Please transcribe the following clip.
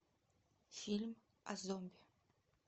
фильм о зомби